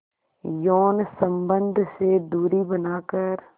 यौन संबंध से दूरी बनाकर